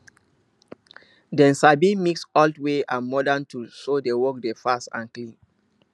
dem sabi mix old way and modern tools so the work dey fast and clean